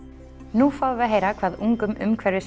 nú fáum við að heyra hvað ungum